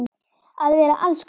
Að vera alls konar.